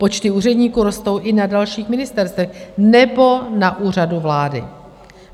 Počty úředníků rostou i na dalších ministerstvech nebo na Úřadu vlády.